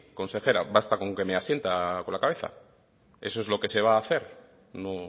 consejera basta con que me asienta con la cabeza eso es lo que se va a hacer no